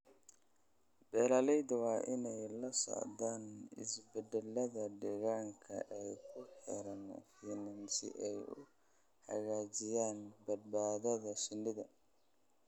Beeralayda waa inay la socdaan isbeddelada deegaanka ee ku xeeran finan si ay u hagaajiyaan badbaadada shinnida.